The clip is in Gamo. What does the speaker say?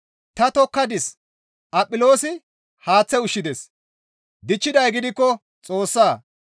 Ta tokkadis; Aphiloosi haaththe ushshides; dichchiday gidikko Xoossa.